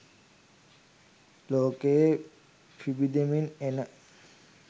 ලෝකයේ පිබිදෙමින් එන